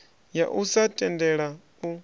ya u sa tendela u